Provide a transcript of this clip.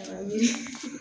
Awɔ